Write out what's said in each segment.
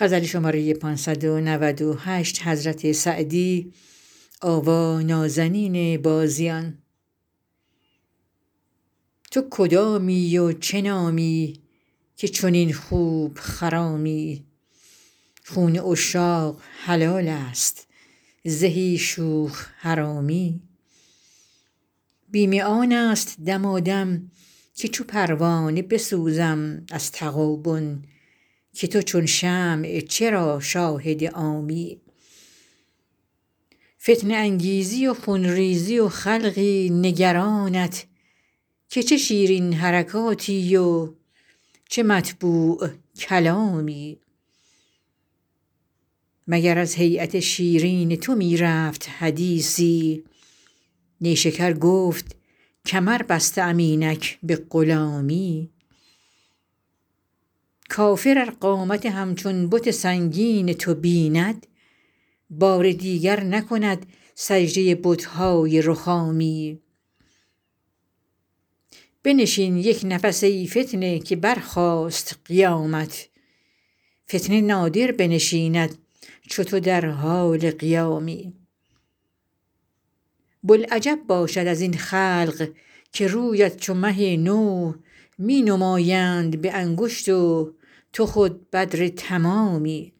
تو کدامی و چه نامی که چنین خوب خرامی خون عشاق حلال است زهی شوخ حرامی بیم آن است دمادم که چو پروانه بسوزم از تغابن که تو چون شمع چرا شاهد عامی فتنه انگیزی و خون ریزی و خلقی نگرانت که چه شیرین حرکاتی و چه مطبوع کلامی مگر از هییت شیرین تو می رفت حدیثی نیشکر گفت کمر بسته ام اینک به غلامی کافر ار قامت همچون بت سنگین تو بیند بار دیگر نکند سجده بت های رخامی بنشین یک نفس ای فتنه که برخاست قیامت فتنه نادر بنشیند چو تو در حال قیامی بلعجب باشد از این خلق که رویت چو مه نو می نمایند به انگشت و تو خود بدر تمامی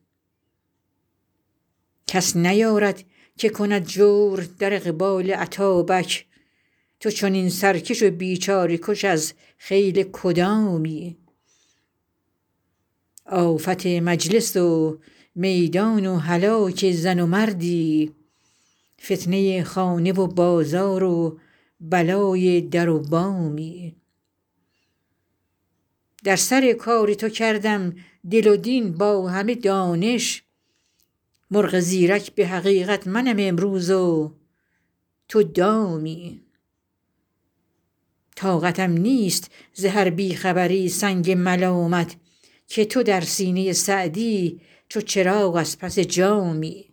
کس نیارد که کند جور در اقبال اتابک تو چنین سرکش و بیچاره کش از خیل کدامی آفت مجلس و میدان و هلاک زن و مردی فتنه خانه و بازار و بلای در و بامی در سر کار تو کردم دل و دین با همه دانش مرغ زیرک به حقیقت منم امروز و تو دامی طاقتم نیست ز هر بی خبری سنگ ملامت که تو در سینه سعدی چو چراغ از پس جامی